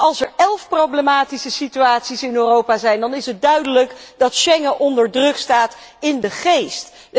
En als er elf problematische situaties in Europa zijn, dan is het duidelijk dat Schengen onder druk staat in de geest.